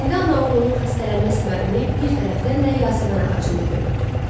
İndi ana oğlunun xəstələnmə səbəbini bir tərəfdən də yasəmən ağacında görürdü.